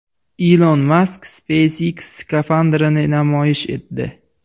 Ilon Mask SpaceX skafandrini namoyish etdi.